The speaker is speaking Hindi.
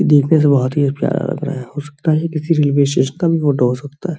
इ देखने से बहुत ही प्यारा लग रहा है | हो सकता है ये किसी रेलवे स्टेशन का भी फोटो हो सकता है |